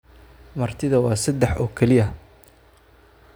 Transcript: martida waa sedex oo kaliya